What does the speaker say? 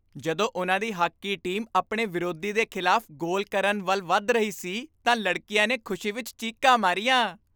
ਜਦੋਂ ਉਨ੍ਹਾਂ ਦੀ ਹਾਕੀ ਟੀਮ ਆਪਣੇ ਵਿਰੋਧੀ ਦੇ ਖ਼ਿਲਾਫ਼ ਗੋਲ ਕਰਨ ਵੱਲ ਵੱਧ ਰਹੀ ਸੀ ਤਾਂ ਲੜਕੀਆਂ ਨੇ ਖੁਸ਼ੀ ਵਿੱਚ ਚੀਕਾਂ ਮਾਰੀਆਂ।